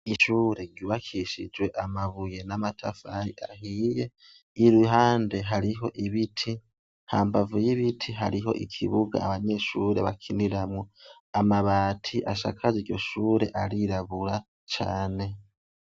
Ishure ryubakishijwe amabuye n'amatafari ahiye. Iruhande hariho ibiti, hambavu y'ibiti, hariho ikibuga abanyeshure bakiniramwo .Amabati ashakaje iryo shure arirabura cane.